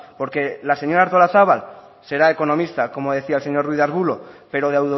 porque la señora artolazabal será economista como decía el señor ruiz de arbulo pero de